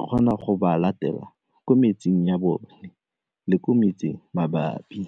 ekgona go ba latela ko metseng ya bone le ko metseng mabapi.